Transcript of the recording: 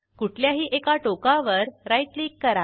कुठल्याही एका टोकावर राईट क्लिक करा